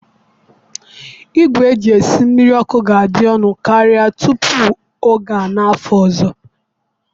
Igwe eji esi mmiri ọkụ ga-adị ọnụ karịa tupu oge a n'afọ ọzọ.